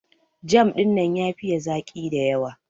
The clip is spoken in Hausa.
Jam dinnan ya fiye zaki da yawa.